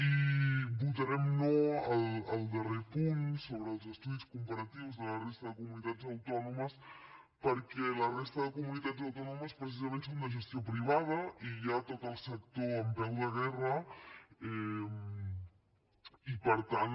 i votarem no al darrer punt sobre els estudis comparatius de la resta de comunitats autònomes perquè la resta de comunitats autònomes precisament són de gestió privada i hi ha tot el sector en peu de guerra i per tant